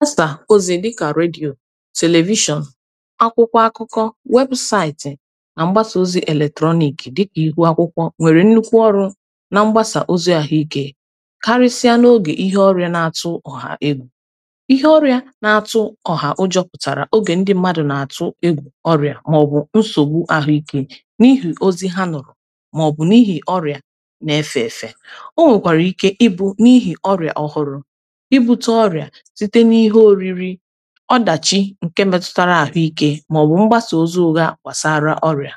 wasà ozi dịkà redyò television akwụkwọ akụkọ webụsaịtị̀ na mgbasa ozi eletrọnịkị̀ dịkà ihu akwụkwọ nwere nnukwu ọrụ̇ na mgbasa ozi ahụike karisịa n’oge ihe ọrịà na-atụ ọha egwù ihe ọrịà na-atụ ọha ọ juputara oge ndị mmadụ̀ na-atụ ọrịà maọ̀bụ̀ nsogbù ahụike n’ihi ozi ha nụrụ̀ maọ̀bụ̀ n’ihi ọrịà na-efe efe o nwekwara ike ịbụ̇ n’ihi ọrịà ọhụrụ̇ ọdachi nke mmetụtara ahụike ma ọ bụ mgbasa ozu ụga gbasara ọrịa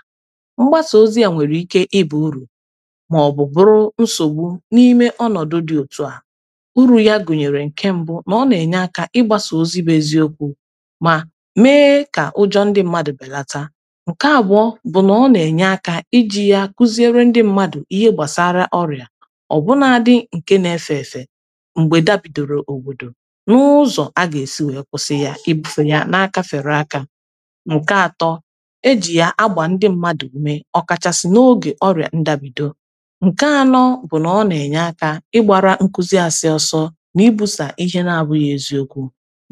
mgbasa ozi a nwere ike ịbụ uru ma ọ bụ bụrụ nsogbu n’ime ọnọdụ dị otu a uru ya gụnyere nke mbụ na ọ na-enye aka ịgbasa ozi bụ eziokwu ma mee ka ụjọ ndị mmadụ belata nke agwọ bụ na ọ na-enye aka iji ya kụziere ndị mmadụ ihe gbasara ọrịa ọbụnadị nke na-efe efe mgbe da bidoro obodo ọ bụ̀ ihe à na-akà mmadụ̀ esi wee kwụsị ya kwụsị ya na-akà fèrè akà n’ụ̀kọ atọ̇ ejì ya agbà ndị mmadụ̀ ume ọ̀ kàchàsị̀ n’ogè ọrịà ndabìdo nke anọ bụ̀ na ọ nà-ènye akà ịgbȧrȧ nkuzi àsị ọsọ n’ibusa ihe na-abụghị̇ eziokwu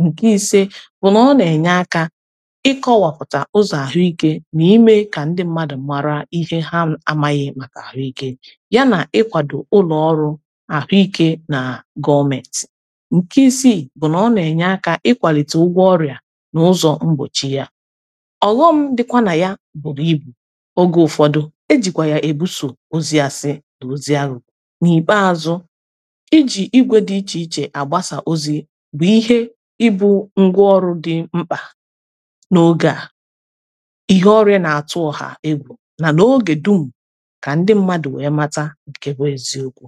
ǹke ise bụ̀ nà ọ nà-ènye akà ịkọwàpụ̀tà ụzọ̀ àhụikė nà ime kà ndị mmadụ̀ m̀marà ihe ha amaghị̇ màkà àhụikė ya nà ịkwàdò ụlọọrụ àhụike nà gọmet ịkwalite ụgwọ ọrịa na ụzọ mgbochi ya ọghọm dịkwa na ya bụrụ ịbụ oge ụfọdụ e jikwa ya ebuso ozi asị na ozi arụ n’ibazu ịjì igwe dị iche iche agbasa ozi bụ ihe ịbụ ngwaọrụ dị mkpa n’oge a ihe ọrịa na-atụ ha egwu na na oge dum ka ndị mmadụ wee mata nkewe ziokwu